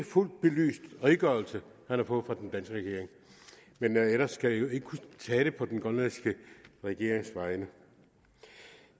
fuldt belyst redegørelse han har fået fra den danske regering men ellers skal jeg jo ikke kunne tale på den grønlandske regerings vegne